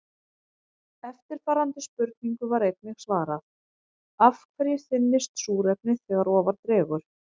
Eftirfarandi spurningu var einnig svarað: Af hverju þynnist súrefnið þegar ofar dregur?